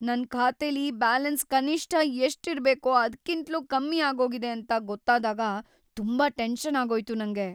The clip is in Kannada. ನನ್ ಖಾತೆಲಿ ಬ್ಯಾಲೆನ್ಸ್ ಕನಿಷ್ಠ ಎಷ್ಟ್ ಇರ್ಬೇಕೋ ಅದ್ಕಿಂತ್ಲೂ ಕಮ್ಮಿ ಆಗೋಗಿದೆ ಅಂತ ಗೊತ್ತಾದಾಗ ತುಂಬಾ ಟೆನ್ಷನ್‌ ಆಗೋಯ್ತು ನಂಗೆ.